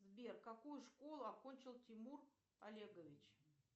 сбер какую школу окончил тимур олегович